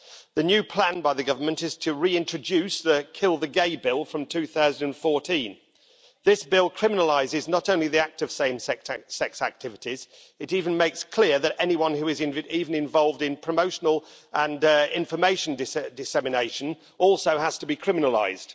The new plan by the government is to reintroduce the kill the gays' bill from 2014. This bill criminalises not only the act of same sex activities, it even makes it clear that anyone who is even involved in promotional and information dissemination also has to be criminalised.